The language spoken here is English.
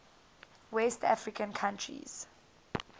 west african countries